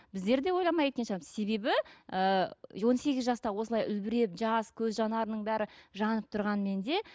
біздер де ойламай кеткен шығармыз себебі ііі он сегіз жаста осылай үлбіреп жас көз жанарының бәрі жанып тұрғанмен де